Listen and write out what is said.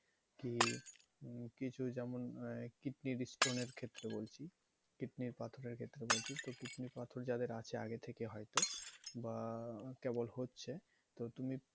কি কিছু যেমন হয় kidney stone এর ক্ষেত্রে বলছি kidney র পাথরের ক্ষেত্রে বলছি তো kidney র পাথর যাদের আছে আগে থেকে হয়তো বা কেবল হচ্ছে তো তুমি,